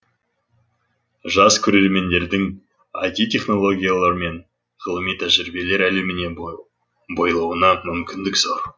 жас көреремендердің іт технологиялар мен ғылыми тәжірибелер әлеміне бойлауына мүмкіндік зор